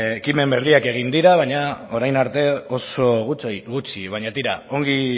ekimen berriak egin dira baina orain arte oso gutxi baina tira ongi